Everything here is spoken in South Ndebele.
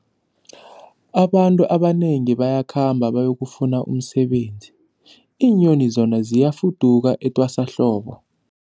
Abantu abanengi bayakhamba bayokufuna umsebenzi, iinyoni zona ziyafuduka etwasahlobo.